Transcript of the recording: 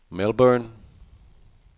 Melbourne